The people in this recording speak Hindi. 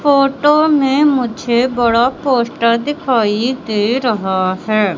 फोटो में मुझे बड़ा पोस्टर दिखाई दे रहा है।